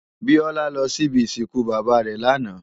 Biola lò si ibi isinkú baba rè làná